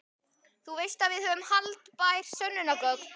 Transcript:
Þú veist að við höfum haldbær sönnunargögn.